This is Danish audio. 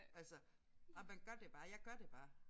Altså og man gør det bare jeg gør det bare